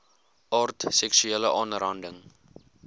aard seksuele aanranding